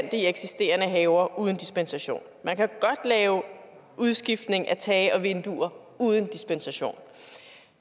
i eksisterende haver uden dispensation man kan godt lave en udskiftning af tage og vinduer uden dispensation